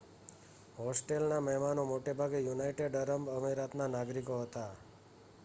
હોસ્ટેલના મહેમાનો મોટેભાગે United Arab અમિરાતના નાગરિકો હતાં